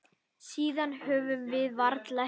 Síðan höfum við varla hist.